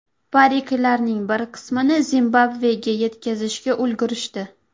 Pariklarning bir qismini Zimbabvega yetkazishga ulgurishdi.